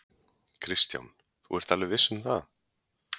Kristján: Þú ert alveg viss um það?